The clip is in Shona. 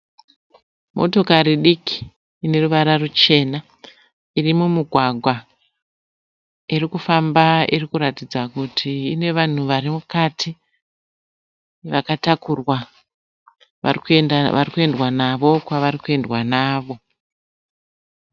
Motokari diki ineruvara ruchena. Iri mumugwagwa irikufamba irikuratidza kuti ine vanhu vari mukati vakatakurwa varikuendwa navo kwavari kuendwa navo.